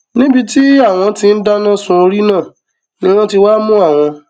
níbi tí àwọn tí ń dáná sun orí náà ni wọn ti wáá mú àwọn